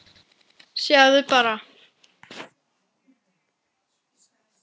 Sjáðu bara!